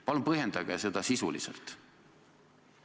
Palun põhjendage seda sisuliselt!